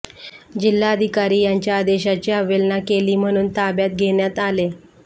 जिल्हाधिकारी यांच्या आदेशाची अवहेलना केली म्हणून ताब्यात घेण्यात आले